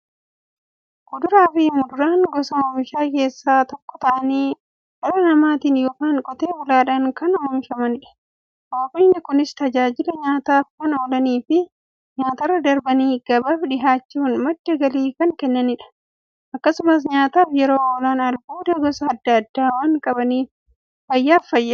Kuduraafi muduraan gosa oomishaa keessaa tokko ta'anii, dhala namaatin yookiin Qotee bulaadhan kan oomishamaniidha. Oomishni Kunis, tajaajila nyaataf kan oolaniifi nyaatarra darbanii gabaaf dhiyaachuun madda galii kan kennaniidha. Akkasumas nyaataf yeroo oolan, albuuda gosa adda addaa waan qabaniif, fayyaaf barbaachisoodha.